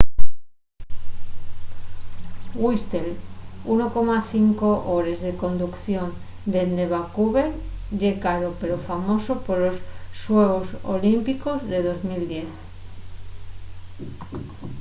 whistler 1,5 hores de conducción dende vancouver ye caro pero famoso polos xuegos olímpicos de 2010